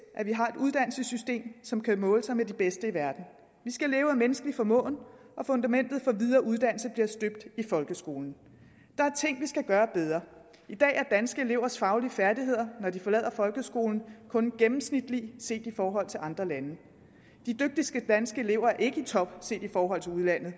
at vi har et uddannelsessystem som kan måle sig med de bedste i verden vi skal leve af menneskelig formåen og fundamentet for videre uddannelse bliver støbt i folkeskolen der er ting vi skal gøre bedre i dag er danske elevers faglige færdigheder når de forlader folkeskolen kun gennemsnitlige set i forhold til andre lande de dygtigste danske elever er ikke i top set i forhold til udlandet og